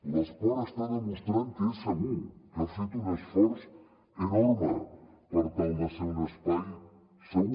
l’esport està demostrant que és segur que ha fet un esforç enorme per tal de ser un espai segur